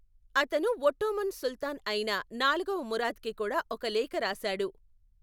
అతను ఒట్టోమన్ సుల్తాన్ అయిన నాలుగవ మురాద్కి కూడా ఒక లేఖ రాశాడు.